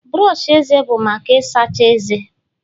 brọsh eze bụ maka Ị sacha ezé